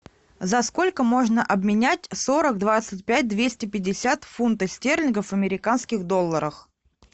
за сколько можно обменять сорок двадцать пять двести пятьдесят фунтов стерлингов в американских долларах